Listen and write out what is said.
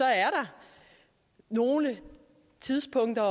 der nogle tidspunkter